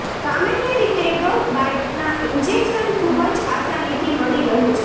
સામાન્ય રીતે ડોગ બાઈટના ઇન્જેકશન ખૂબજ આસાનીથી મળી રહે છે